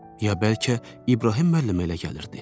Ya bəlkə İbrahim müəllimə elə gəlirdi.